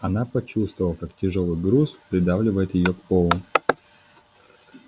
она почувствовала как тяжёлый груз придавливает её к полу